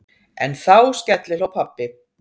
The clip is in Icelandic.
En þá skellihló pabbi.